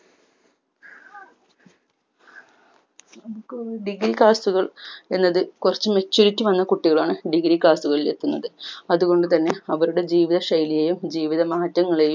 degree class കൾ എന്നത് കുറച്ച് maturity വന്ന കുട്ടികളാണ് degree class കളിൽ എത്തുന്നത് അതുകൊണ്ട് തന്നെ അവരുടെ ജീവിതശൈലിയെയും ജീവിത മാറ്റങ്ങളെയും